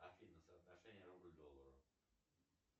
афина соотношение рубль к доллару